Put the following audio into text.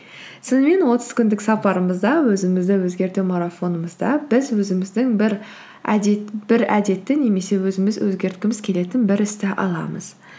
сонымен отыз күндік сапарымызда өзімізді өзгерту марафонымызда біз өзіміздің бір әдетті немесе өзіміз өзгерткіміз келетін бір істі аламыз